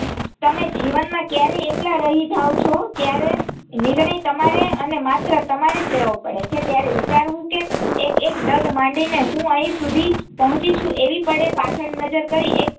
તમે જીવનમાં કયારે એકલા રહી જાઓ છો ત્યારે નિર્ણય તમારે અને માત્ર તમારે જ લેવો પડે છે ત્યારે વિચારવું કે એક એક ડગ માંડીને હું અહીં સુધી પહોંચી છું એવી પળે પાછળ નજર કરી એક